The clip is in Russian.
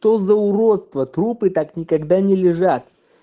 то за уродство трупы как никогда не лежат